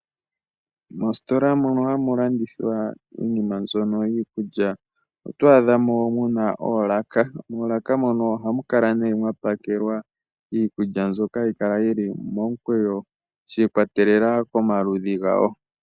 Moositola mono hamu landithwa iinima mbyono yiikulya oto adhamo muna oolaka. Moolaka mono ohamu kala nee mwa pakelwa iikulya mbyoka hayi kala yi li momukweyo shi ikwatelela komaludhi gawo.